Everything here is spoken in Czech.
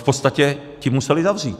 V podstatě ti museli zavřít!